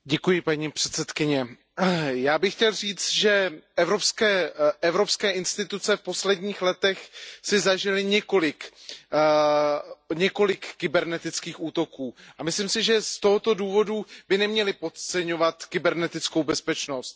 Paní předsedající, já bych chtěl říct, že evropské instituce v posledních letech zažily několik kybernetických útoků. A myslím si, že z tohoto důvodu by neměly podceňovat kybernetickou bezpečnost.